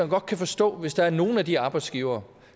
godt kan forstå hvis der er nogle af de arbejdsgivere